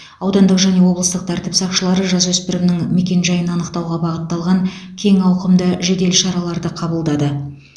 аудандық және облыстық тәртіп сақшылары жасөспірімнің мекен жайын анықтауға бағытталған кең ауқымды жедел шараларды қабылдады